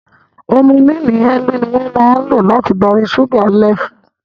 Humillini Ń ni wón máa ń lò láti darí ṣúgá lẹfù